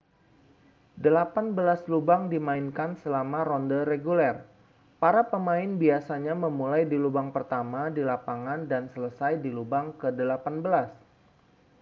delapan belas lubang dimainkan selama ronde reguler para pemain biasanya memulai di lubang pertama di lapangan dan selesai di lubang ke-18